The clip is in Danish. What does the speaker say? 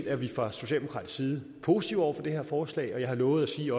er vi fra socialdemokratisk side positive over for det her forslag og jeg har lovet at sige